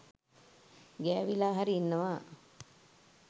ගෑවිලා හරි ඉන්නවා.